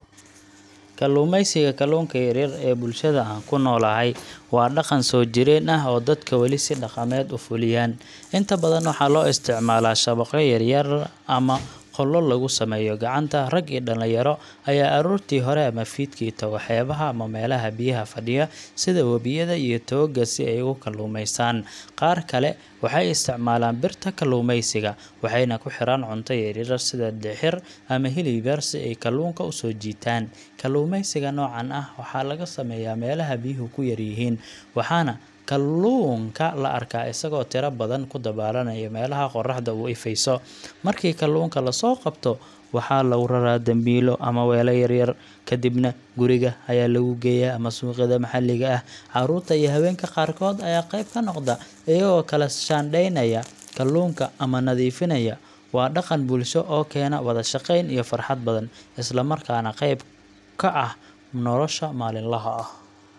Kalluumaysiga kalluunka yar yar ee bulshada aan ku noolahay waa dhaqan soo jireen ah oo dadku weli si dhaqameed u fuliyaan. Inta badan waxaa loo isticmaalaa shabaqyo yaryar ama qoollo lagu sameeyo gacanta. Rag iyo dhalinyaro ayaa aroortii hore ama fiidkii tago xeebaha ama meelaha biyaha fadhiya sida webiyada iyo togagga si ay ugu kalluumaystaan. Qaar kale waxay isticmaalaan birta kalluumaysiga, waxayna ku xiraan cunto yar yar sida dixir ama hilib yar si ay kalluunka u soo jiitaan. Kalluumaysiga noocan ah waxaa laga sameeyaa meelaha biyuhu ku yar yihiin, waxaana kalluunka la arkaa isagoo tiro badan ku dabaalanaya meelaha qorraxdu u ifayso. Markii kalluunka la soo qabto, waxaa lagu raraa dambiilo ama weelal yaryar, kadibna guriga ayaa lagu geeyaa ama suuqyada maxalliga ah. Carruurta iyo haweenka qaarkood ayaa qayb ka noqda, iyagoo kala shaandheeya kalluunka ama nadiifiya. Waa dhaqan bulsho oo keena wada-shaqayn iyo farxad badan, islamarkaana qayb ka ah nolosha maalinlaha ah.